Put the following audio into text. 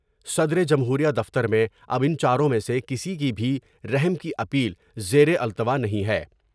صدر جمہور یہ دفتر میں اب ان چاروں میں سے کسی کی بھی رحم کی اپیل زیرالتوا نہیں ہے ۔